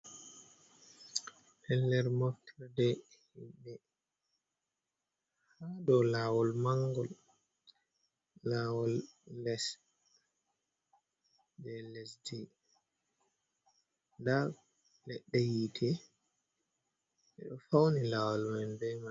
Pellel moftorde himɓe ha dow lawol mangol, lawol les jai lesdi, nda leɗɗe yite ɓeɗo fauni lawol man be mai.